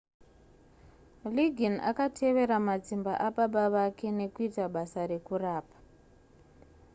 liggins akatevera matsimba ababa vake nekuita basa rekurapa